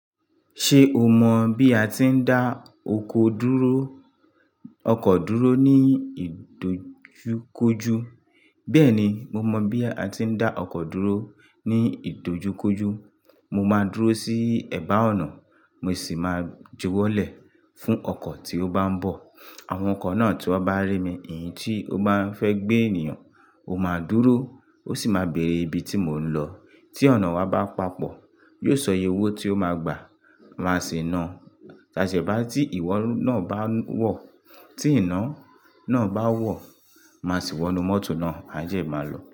Ṣé o mọ bí a ti ń dá oko dúró, ọkọ̀ dúró ní ìdojúkójú? Bẹ́ẹ̀ ni, mo mọ bí a ti ń dá ọkọ̀ dúró ní ìdojúkójú. Mo máa dúró sí ẹ̀bá ọ̀nà, mo sì máa jowọ́lẹ̀ fún ọkọ̀ tí ó bá ń bọ̀. Àwọn ọkọ̀ náà tí wọ́n bá rí mi, èyí tí ó bá fẹ́ gbé ènìyàn, ó máa dúró, ó sì máa bèrè ibi tí mò ń lọ. Tí ọ̀nà wa bá papọ̀, yóò sọ iye owó tí ó máa gbà, máa sì na. Táṣe bá tí ìwọ náà bá wọ̀, tí iná náà bá wọ̀, màá sì wọ inú mọ́tò náà, àjè máa lọ.